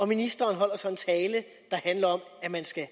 ministeren holder så en tale der handler om at man skal